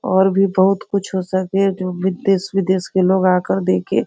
और भी बहुत कुछ हो सके जो देश-विदेश के लोग आकर देखे।